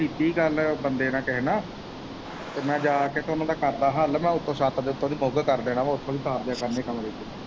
ਕੀਤੀ ਹੀ ਗੱਲ ਬੰਦੇ ਕਿਸੇ ਨਾਲ ਤੇ ਮੈਂ ਜਾ ਕੇ ਤੇ ਕਰਦਾ ਹੱਲ ਮੈਂ ਛੱਤ ਦੇ ਉੱਤੋਂ ਦੀ ਬੁੱਕ ਕਰ ਦੇਣਾ ਉੱਥੋਂ ਦੀ ਤਾਰ ਦੇਣਾ ਕਮਰੇ ਚੋਂ।